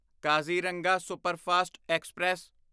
Kaziranga superfast express